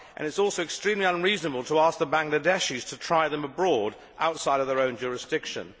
It is also extremely unreasonable to ask the Bangladeshis to try them abroad outside of their own jurisdiction.